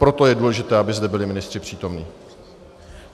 Proto je důležité, aby zde byli ministři přítomni.